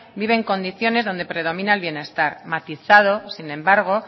vive en condiciones en las que predomina el bienestar matizado sin embargo